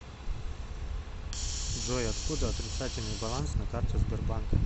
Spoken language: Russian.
джой откуда отрицательный баланс на карте сбербанка